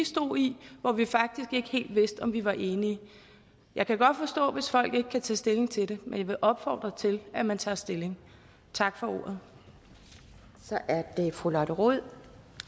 stod i hvor vi faktisk ikke helt vidste om vi var enige jeg kan godt forstå hvis folk ikke kan tage stilling til det men jeg vil opfordre til at man tager stilling tak for ordet for ordet